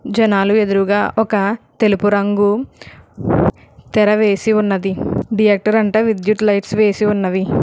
జనాలు ఎదురుగా ఒక తెలుపు రంగు తెరవేసి ఉన్నది థియేటర్ అంతా విద్యుత్ లైట్స్ వేసి ఉన్నవి.